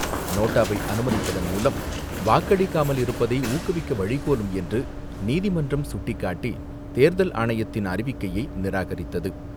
நோட்டாவை அனுமதிப்பதன் மூலம், வாக்களிக்காமல் இருப்பதை ஊக்குவிக்க வழிகோலும் என்று நீதிமன்றம் சுட்டிக்காட்டி தேர்தல் ஆணையத்தின் அறிவிக்கையை நிராகரித்தது.